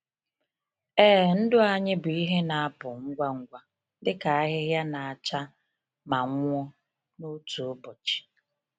Ee, ndụ anyị bụ ihe na-apụ ngwa ngwa dịka ahịhịa na-acha ma nwụọ n’otu ụbọchị.